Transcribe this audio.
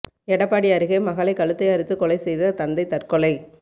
எடப்பாடி அருகே மகளை கழுத்தை அறுத்து கொலை செய்த தந்தை தற்கொலை